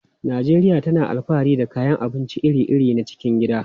Najeriya tana alfahari da kayan abinci iri-iri na cikin gida.